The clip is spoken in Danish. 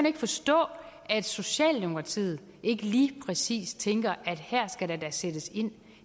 ikke forstå at socialdemokratiet ikke lige præcis tænker at her skal der da sættes ind